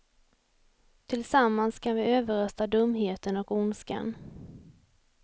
Tillsammans kan vi överrösta dumheten och ondskan.